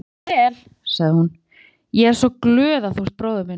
Gangi þér vel, sagði hún, ég er svo glöð að þú ert bróðir minn.